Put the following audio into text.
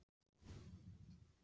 Hjörtur: Ertu vonsvikin með það?